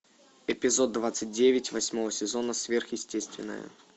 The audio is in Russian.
эпизод двадцать девять восьмого сезона сверхъестественное